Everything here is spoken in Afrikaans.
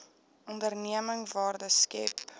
onderneming waarde skep